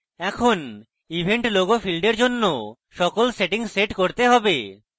এখন event logo field এর জন্য সকল সেটিংস set করতে হবে